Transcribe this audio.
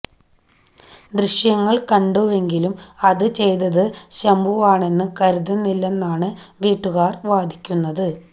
ദൃശ്യങ്ങൾ കണ്ടുവെങ്കിലും അത് ചെയ്തത് ശംഭുവാണെന്ന് കരുതുന്നില്ലെന്നാണ് വീട്ടുകാർ വാദിക്കുന്നത്